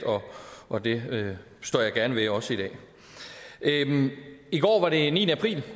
og det står jeg gerne ved også i dag i går var det niende april